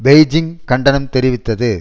Beijing கண்டனம் தெரிவித்தது